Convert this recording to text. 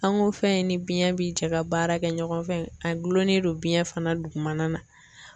An ko fɛn in ni biɲɛ bi jɛ ka baara kɛ ɲɔgɔn fɛ, a gulonnen don biɲɛ fana dugumana na.